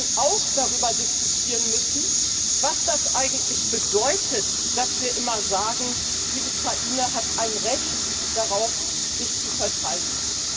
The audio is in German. Wir werden auch darüber diskutieren müssen, was das eigentlich bedeutet, dass wir immer sagen Die Ukraine hat ein Recht darauf, sich zu verteidigen.